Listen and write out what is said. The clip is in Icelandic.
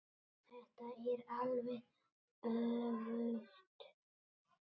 Þetta er alveg öfugt.